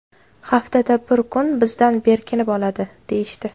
Haftada bir kun bizdan berkinib oladi, – deyishdi.